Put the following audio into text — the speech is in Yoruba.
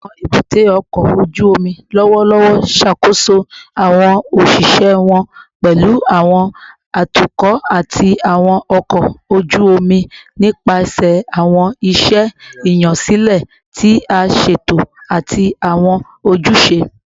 Awọn ebute oko oju omi lọwọlọwọ ṣakoso awọn oṣiṣẹ wọn, pẹlu awọn atukọ ati awọn ọkọ oju omi, nipasẹ awọn iṣẹ iyansilẹ ti a ṣeto ati awọn ojuse